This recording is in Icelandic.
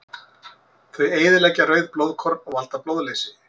Þau eyðileggja rauð blóðkorn og valda blóðleysi.